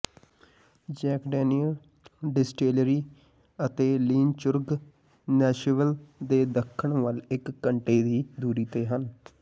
Jack Daniel distillery ਅਤੇ Lynchburg Nashville ਦੇ ਦੱਖਣ ਵੱਲ ਇਕ ਘੰਟੇ ਦੀ ਦੂਰੀ ਤੇ ਹਨ